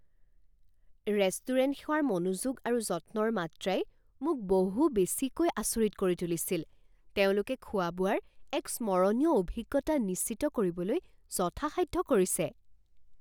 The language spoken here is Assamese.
ৰেষ্টুৰেণ্ট সেৱাৰ মনোযোগ আৰু যত্নৰ মাত্ৰাই মোক বহু বেছিকৈ আচৰিত কৰি তুলিছিল তেওঁলোকে খোৱা বোৱাৰ এক স্মৰণীয় অভিজ্ঞতা নিশ্চিত কৰিবলৈ যথাসাধ্য কৰিছে।